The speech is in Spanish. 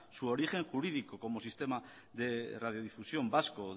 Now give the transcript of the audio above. su origen jurídico como sistema de radiodifusión vasco